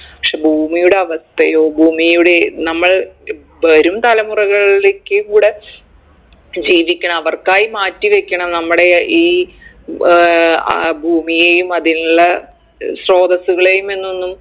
പക്ഷെ ഭൂമിയുടെ അവസ്ഥയോ ഭൂമിയുടെ നമ്മൾ വരും തലമുറകളിലേക്കും കൂടെ ജീവിക്കണം അവർക്കായി മാറ്റി വെക്കണം നമ്മടെ ഈ ഏർ ആഹ് ഭൂമിയെയും അതിനുള്ള ഏർ സ്രോതസ്സുകളെയും എന്നൊന്നും